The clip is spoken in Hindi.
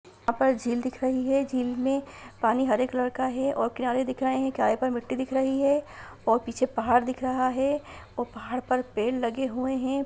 यहां पर झील दिख रही है झील में पानी हरे कलर का है और किनारे दिख रहे हैंकिनारे में मिट्टी दिख रही है और पीछे पहाड़ दिख रहा है और पहाड़ पर पेड़ लगे हुए हैं।